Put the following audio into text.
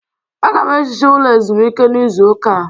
Aga m ehicha ụlọ ezumike n'izu ụka a